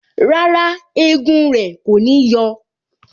Rárá, egun rẹ kò ní yọ